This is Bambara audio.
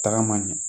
Tagama ɲɛ